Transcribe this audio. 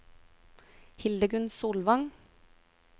Hildegunn Solvang